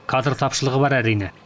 кадр тапшылығы бар әрине